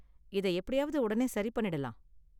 இதை எப்படியாவது உடனே சரி பண்ணிடலாம்.